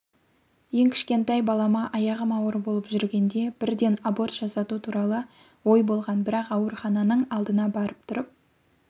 ең кішкентай баламааяғым ауыр болып жүргенде бірденаборт жасату туралы ой болған бірақ аурухананың алдына барып тұрып